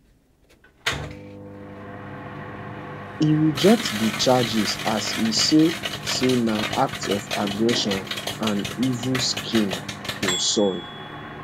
e reject di charges as e say say na act of aggression and evil scheme to soil